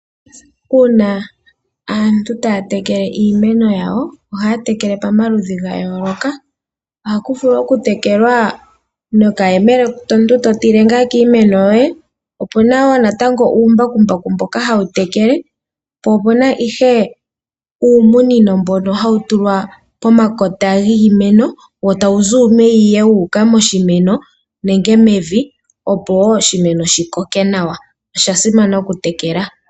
Uuna aantu taya tekele iimeno yawo ohaya tekele pamaludhi gayooloka. Ohaku vulu okutekelwa nokayemele omuntu to tile ngaa kiimeno yoye. Opuna woo natango uumbakumbaku mboka hawu tekele, po opuna ihe uumunino mbono hawu tulwa pomakota giimeno wo tawu zi uumeya wuuka moshimeno nenge mevi opo woo oshimeno shikoke nawa. Oshasimana okutekela.